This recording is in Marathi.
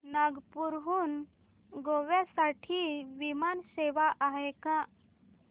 नागपूर हून गोव्या साठी विमान सेवा आहे का